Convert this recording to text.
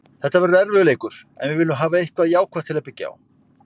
Þetta verður erfiður leikur en við viljum hafa eitthvað jákvætt til að byggja á.